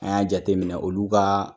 An y'a jate minɛ olu ka